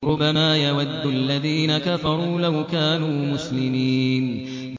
رُّبَمَا يَوَدُّ الَّذِينَ كَفَرُوا لَوْ كَانُوا مُسْلِمِينَ